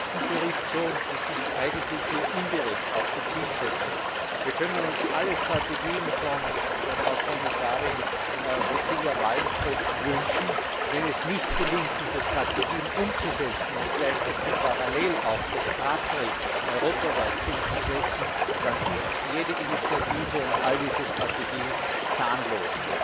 Das war im letzten Bericht so, und das ist eigentlich hier indirekt auch die Zielsetzung. Wir können uns alle Strategien von Frau Kommissarin Cecilia Malmström wünschen wenn es nicht gelingt, diese Strategien umzusetzen und gleich dazu parallel auch das Strafrecht europaweit umzusetzen, dann ist jede Initiative und all diese Strategie zahnlos.